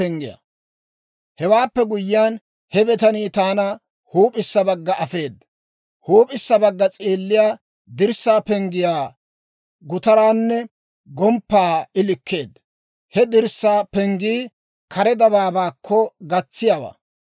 Hewaappe guyyiyaan, he bitanii taana huup'issa bagga afeeda. Huup'issa bagga s'eelliyaa dirssaa penggiyaa gutaraanne gomppaa I likkeedda. He dirssaa penggii kare dabaabaakko gatsiyaawaa.